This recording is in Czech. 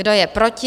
Kdo je proti?